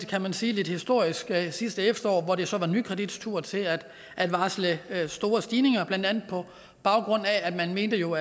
kan man sige lidt historisk sidste efterår hvor det så var nykredits tur til at varsle store stigninger blandt andet på baggrund af man jo